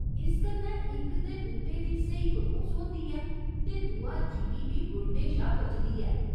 इस कन्नै इक ते बूह्टे दी स्हेई परोस होंदी ऐ ते दूआ जिमीं बी रुढ़ने शा बचदी ऐ।